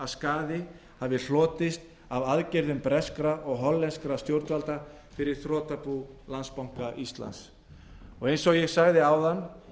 skaði hafi hlotist af aðgerðum breskra og hollenskra stjórnvalda fyrir þrotabú landsbanka íslands h f eins og ég sagði áðan